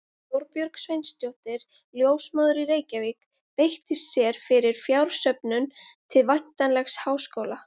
Þorbjörg Sveinsdóttir, ljósmóðir í Reykjavík, beitti sér fyrir fjársöfnun til væntanlegs háskóla.